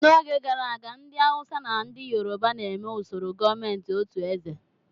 N'oge gara aga, ndị Awụsa na ndị Yoroba na-eme usoro gọọmentị otu eze.